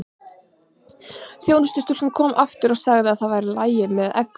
Þjónustustúlkan kom aftur og sagði það væri í lagi með beikon og egg.